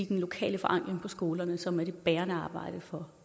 den lokale forankring på skolerne som er det bærende arbejde for